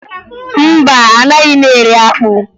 Mba, anaghị m eri akpụ